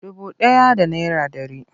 Dubu ɗaya da naira ɗari.